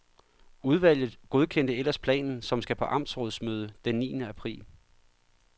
Udvalget godkendte ellers planen, som skal på amtsrådsmøde den niende april.